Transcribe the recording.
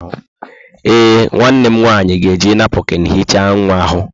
Ee, nwanne m nwanyị ga-eji napụkịn hichaa nwa ahụ.